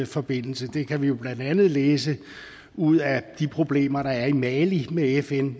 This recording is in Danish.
forbindelse det kan vi jo blandt andet læse ud af de problemer der er i mali med fn